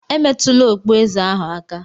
Emetụla okpueze ahụ aka!